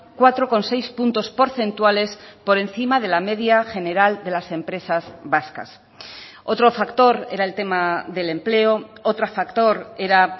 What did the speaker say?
cuatro coma seis puntos porcentuales por encima de la media general de las empresas vascas otro factor era el tema del empleo otro factor era